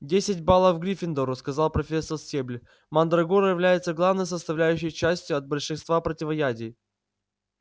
десять баллов гриффиндору сказала профессор стебль мандрагора является главной составляющей частью от большинства противоядий